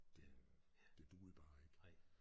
Det øh det duede bare ikke